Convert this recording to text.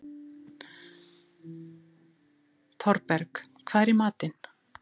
Thorberg, hvað er í matinn?